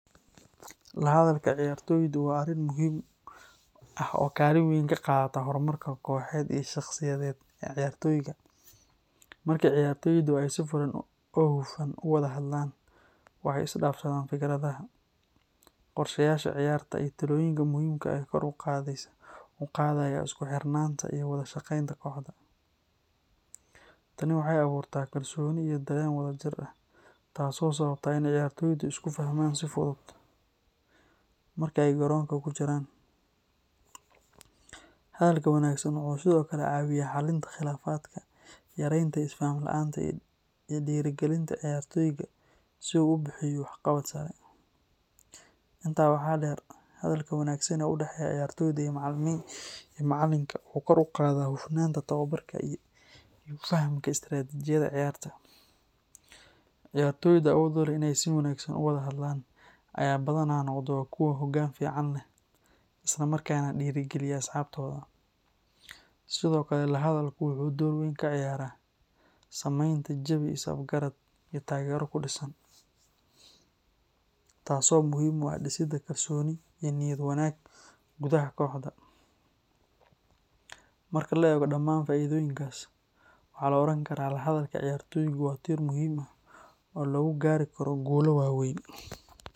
Lahadalka ciyaartoydu waa arrin muhiim ah oo kaalin weyn ka qaata horumarka kooxeed iyo shaqsiyadeed ee ciyaartoyga. Marka ciyaartoydu ay si furan oo hufan u wada hadlaan, waxay is dhaafsadaan fikradaha, qorshayaasha ciyaarta, iyo talooyinka muhiimka ah ee kor u qaadaya isku xirnaanta iyo wada shaqaynta kooxda. Tani waxay abuurtaa kalsooni iyo dareen wadajir ah, taas oo sababta in ciyaartoydu isku fahmaan si fudud marka ay garoonka ku jiraan. Hadalka wanaagsan wuxuu sidoo kale caawiyaa xallinta khilaafaadka, yareynta is faham la’aanta, iyo dhiirigelinta ciyaartoyga si uu u bixiyo waxqabad sare. Intaa waxaa dheer, hadalka wanaagsan ee u dhexeeya ciyaartoyda iyo macallinka wuxuu kor u qaadaa hufnaanta tababarka iyo fahamka istaraatiijiyada ciyaarta. Ciyaartoyda awood u leh in ay si wanaagsan u wada hadlaan ayaa badanaa noqda kuwa hoggaan fiican leh, isla markaana dhiirrigeliya asxaabtooda. Sidoo kale, lahadalku wuxuu door weyn ka ciyaaraa samaynta jawi is afgarad iyo taageero ku dhisan, taas oo muhiim u ah dhisidda kalsooni iyo niyad wanaag gudaha kooxda. Marka la eego dhamaan faa’iidooyinkaas, waxaa la oran karaa lahadalka ciyaartoydu waa tiir muhiim ah oo lagu gaari karo guulo waaweyn.